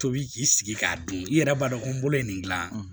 Tobi k'i sigi k'a dun i yɛrɛ b'a dɔn ko n bolo ye nin gilan